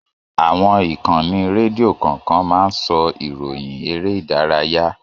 Àwọn ìkànnì rédíò kọ̀ọ̀kan máa ń sọ ìròyìn eré ìdárayá.